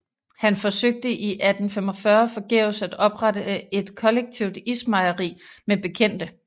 Han forsøgte i 1845 forgæves at oprette et kollektivt ismejeri med bekendte